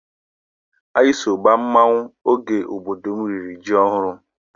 Anyị so gbaa mmanwụ oge obodo m riri ji ọhụrụ.